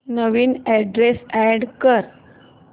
नवीन address add कर